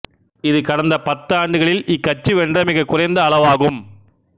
இது கடந்த பத்தாண்டுகளில் இக்கட்சி வென்ற மிக குறைந்த அளவாகும்